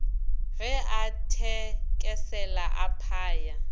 ge a thekesela a phaya